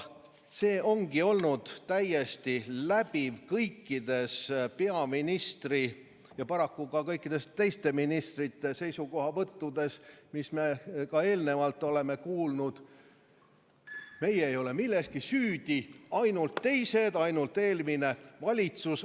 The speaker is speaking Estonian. See ongi olnud täiesti läbiv kõikides peaministri ja paraku ka kõikide teiste ministrite seisukohavõttudes, mida me seni oleme kuulnud: meie ei ole milleski süüdi, ainult teised, ainult eelmine valitsus.